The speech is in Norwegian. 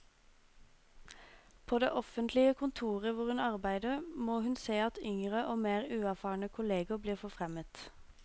På det offentlige kontoret hvor hun arbeider, må hun se at yngre og mer uerfarne kolleger blir forfremmet.